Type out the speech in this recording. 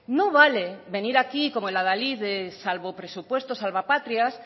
no vale venir aquí como el adalid de salvapresupuestos salvapatrias